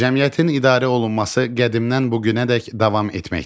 Cəmiyyətin idarə olunması qədimdən bu günədək davam etməkdədir.